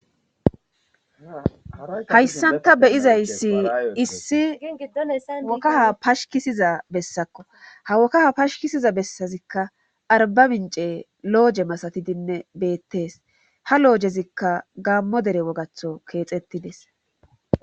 hayssanta beyizayssi issi giddolesa wokaha pashikisiza bessakko hawokkaha pashikisiza bessazikka arba mince looje masatidinne beettees ha loojezikka gaammo dere wogatho keexettides